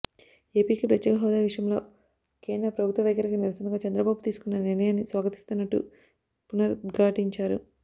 ఏపీకి ప్రత్యేక హోదా విషయంలో కేంద్ర ప్రభుత్వ వైఖరికి నిరసనగా చంద్రబాబు తీసుకున్న నిర్ణయాన్ని స్వాగతిస్తున్నట్టు పునరుద్ఘాటించారు